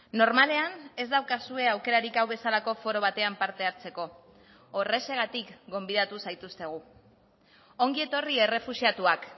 normalean ez daukazue aukerarik hau bezalako foro batean parte hartzeko horrexegatik gonbidatu zaituztegu ongi etorri errefuxiatuak